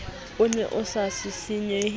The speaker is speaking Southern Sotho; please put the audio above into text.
o ne a sa sisinyehe